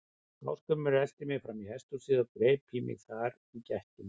Ásgrímur elti mig fram í hesthúsið og greip í mig þar í gættinni.